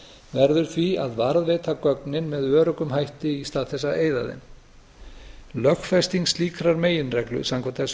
verður því að varðveita gögnin með öruggum hætti í stað þess að eyða þeim lögfesting slíkrar meginreglu samkvæmt þessu